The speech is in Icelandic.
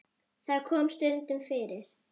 Það kom stundum fyrir.